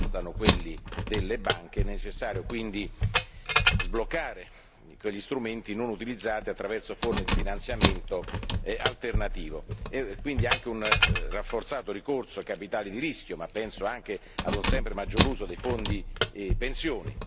Non bastano quelli delle banche è necessario, quindi, sbloccare quegli strumenti non utilizzati attraverso forme di finanziamento alternativo e quindi ricorrere anche maggiormente ai capitali di rischio, ma penso anche a un sempre maggior uso dei fondi pensioni.